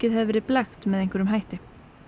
hafi verið blekkt með einhverjum hætti